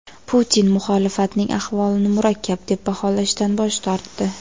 Putin muxolifatning ahvolini murakkab deb baholashdan bosh tortdi.